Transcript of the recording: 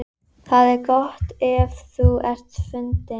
Valgerður Sverrisdóttir, utanríkisráðherra: Sko, hvaða kosti eigum við?